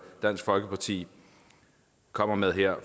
dansk folkeparti kommer med her